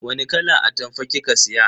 Wani kalan atamfa kika siya?